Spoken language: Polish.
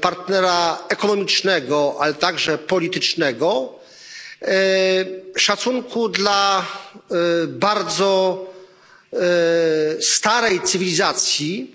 partnera ekonomicznego, a także politycznego, szacunku dla bardzo starej cywilizacji,